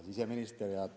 Hea siseminister!